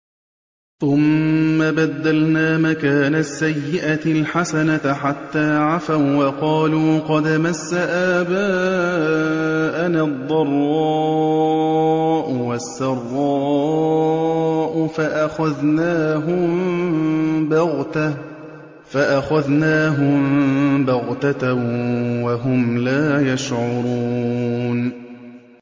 ثُمَّ بَدَّلْنَا مَكَانَ السَّيِّئَةِ الْحَسَنَةَ حَتَّىٰ عَفَوا وَّقَالُوا قَدْ مَسَّ آبَاءَنَا الضَّرَّاءُ وَالسَّرَّاءُ فَأَخَذْنَاهُم بَغْتَةً وَهُمْ لَا يَشْعُرُونَ